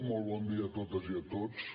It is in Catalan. molt bon dia a totes i a tots